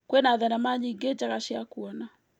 Kwĩna thenema nyingĩ njega cia kuona.